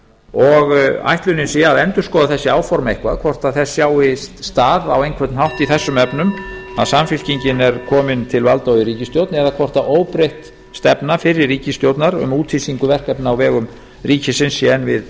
og ætlunin sé að endurskoða þessi áform eitthvað hvort þess sjái stað á einhvern hátt í þessum efnum að samfylkingin er komin til valda og í ríkisstjórn eða hvort óbreytt stefna fyrri ríkisstjórnar um úthýsingu verkefna á vegum ríkisins sé enn við